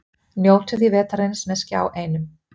Njótum því vetrarins með Skjá einum.